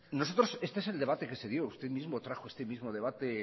nosotros este es el debate que se dio usted mismo trajo este mismo debate el